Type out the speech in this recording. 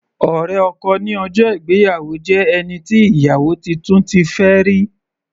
Ọ̀rẹ́ ọkọ ní ọjọ́ ìgbéyàwó jẹ́ ẹni tí ìyàwó titun ti fẹ́ rí.